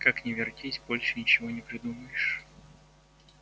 как ни вертись больше ничего не придумаешь